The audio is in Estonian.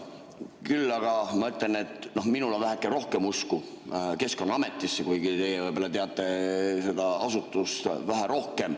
Küll aga ma ütlen, et minul on väheke rohkem usku Keskkonnaametisse, kuigi teie võib-olla teate seda asutust vähe rohkem.